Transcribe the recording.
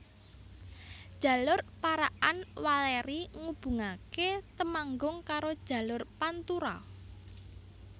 Jalur Parakan Welèri ngubungaké Temanggung karo jalur Pantura